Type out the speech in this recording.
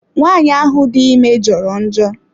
Nwaanyị ahụ dị ime jọrọ njọ.